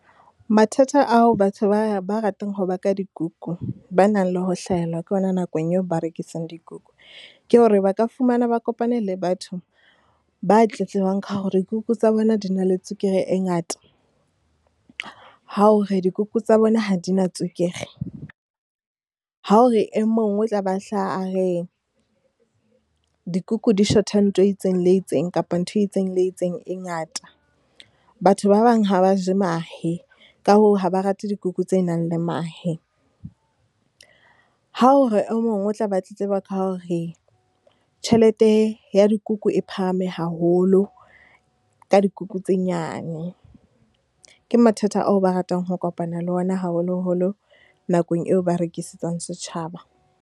Mathata ao batho ba, ba ratang ho baka dikuku, ba nang le ho hlahella ke hona nakong eo ba rekisang dikuku. Ke hore ba ka fumana ba kopane le batho ba tletlebang ka hore dikuku tsa bona di na le tswekere e ngata, ha o hore dikuku tsa bona ha di na tswekere. Ha hore e mong o tla ba hlaha a re, dikuku di shota ntho e itseng le e itseng, kapa ntho e itseng le itseng e ngata. Batho ba bang ha ba je mahe, ka hoo, ha ba rate dikuku tse nang le mahe. Ha o re e mong o tla be a tletleba ka hore tjhelete ya dikuku e phahame haholo, ka dikuku tse nyane. Ke mathata ao ba ratang ho kopana le ona, haholoholo nakong eo ba rekisetsang setjhaba.